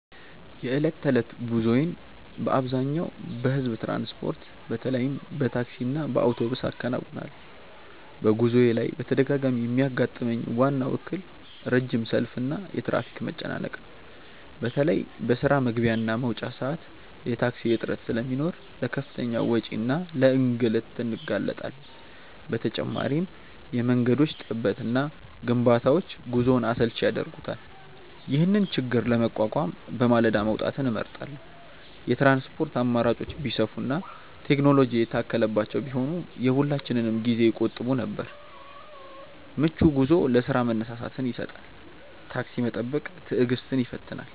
የዕለት ተዕለት ጉዞዬን በአብዛኛው በሕዝብ ትራንስፖርት፣ በተለይም በታክሲና በአውቶቡስ አከናውናለሁ። በጉዞዬ ላይ በተደጋጋሚ የሚያጋጥመኝ ዋናው እክል ረጅም ሰልፍና የትራፊክ መጨናነቅ ነው። በተለይ በስራ መግቢያና መውጫ ሰዓት የታክሲ እጥረት ስለሚኖር ለከፍተኛ ወጪና ለእንግልት እንጋለጣለን። በተጨማሪም የመንገዶች ጥበትና ግንባታዎች ጉዞውን አሰልቺ ያደርጉታል። ይህንን ችግር ለመቋቋም በማለዳ መውጣትን እመርጣለሁ። የትራንስፖርት አማራጮች ቢሰፉና ቴክኖሎጂ የታከለባቸው ቢሆኑ የሁላችንንም ጊዜ ይቆጥቡ ነበር። ምቹ ጉዞ ለስራ መነሳሳትን ይሰጣል። ታክሲ መጠበቅ ትዕግስትን ይፈትናል።